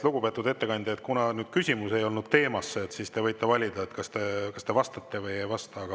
Lugupeetud ettekandja, kuna küsimus ei olnud teema kohta, siis te võite valida, kas te vastate või ei vasta.